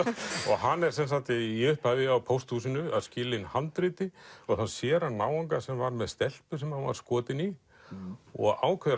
hann er í upphafi á pósthúsinu að skila inn handriti og þá sér hann náunga sem var með stelpu sem hann var skotinn í og ákveður